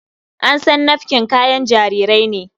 An san nafkin kayan jarirai ne.